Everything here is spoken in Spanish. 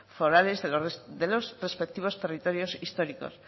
forales de los respectivos territorios históricos